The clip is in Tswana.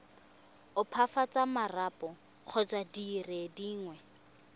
opafatsa marapo kgotsa dire dingwe